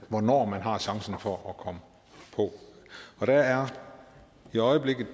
hvornår man har chancen for at komme på der er i øjeblikket